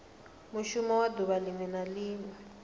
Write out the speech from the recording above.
mushumo wa duvha linwe na